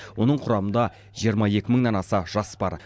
оның құрамында жиырма екі мыңнан аса жас бар